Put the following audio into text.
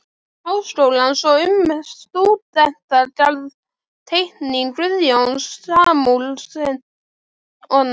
Háskólans og um stúdentagarð-Teikning Guðjóns Samúelssonar